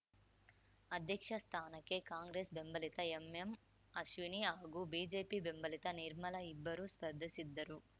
ಅಧ್ಯಕ್ಷ ಸ್ಥಾನಕ್ಕೆ ಕಾಂಗ್ರೆಸ್‌ ಬೆಂಬಲಿತ ಎಂಎಂ ಅಶ್ವಿನಿ ಹಾಗೂ ಬಿಜೆಪಿ ಬೆಂಬಲಿತ ನಿರ್ಮಲ ಇಬ್ಬರು ಸ್ಪರ್ಧಿಸಿದ್ದರು